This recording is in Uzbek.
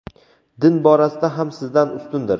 din borasida ham sizdan ustundir.